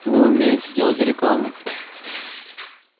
вы умеете делать рекламу